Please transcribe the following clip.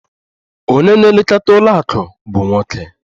Onye na-elekọta ụlọ akụ bụ nwoke.